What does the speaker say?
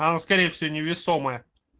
оно скорее всего невесомая